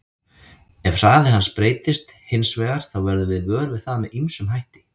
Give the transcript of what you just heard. Ef hraði hans breytist hins vegar þá verðum við vör við það með ýmsum hætti.